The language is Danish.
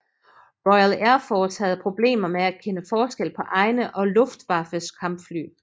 Royal Air Force havde problemer med at kende forskel på egne og Luftwaffes kampfly